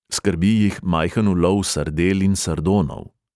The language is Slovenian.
Skrbi jih majhen ulov sardel in sardonov.